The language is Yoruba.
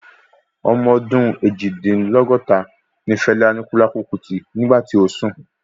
Ọmọ ọdún Eejidinlogota ní Fela Anikulapo Kuti nígbà tí ó sùn